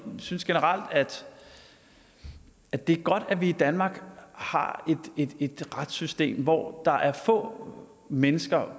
synes generelt at det er godt at vi i danmark har et retssystem hvor det er få mennesker